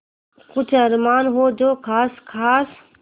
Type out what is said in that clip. कुछ अरमान हो जो ख़ास ख़ास